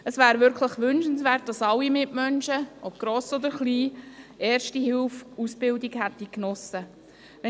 Es wäre wirklich wünschenswert, dass alle Menschen, ob gross oder klein, eine Erste-Hilfe-Ausbildung genossen haben.